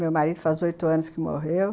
Meu marido faz oito anos que morreu.